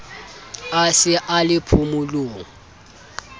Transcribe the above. a se a le phomolong